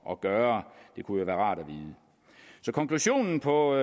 at gøre det kunne være rart at vide så konklusionen på